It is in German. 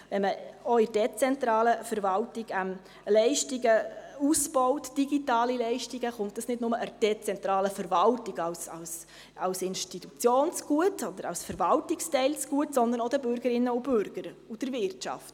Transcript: Wenn man auch in der dezentralen Verwaltung digitale Leistungen ausbaut, kommt dies nicht nur der dezentralen Verwaltung als Institution oder als Verwaltungsteil zugute, sondern auch den Bürgerinnen und Bürgern und der Wirtschaft.